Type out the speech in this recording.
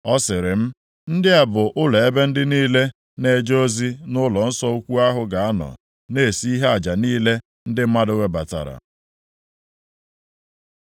Ọ sịrị m, “Ndị a bụ ụlọ ebe ndị niile na-eje ozi nʼụlọnsọ ukwu ahụ ga-anọ na-esi ihe aja niile ndị mmadụ webatara.”